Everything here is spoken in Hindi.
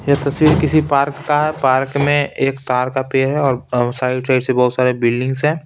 ये तस्वीर किसी पार्क का है पार्क में एक तार का पेड़ है और चारों साइड से बहोत सारे बिल्डिंग्स हैं।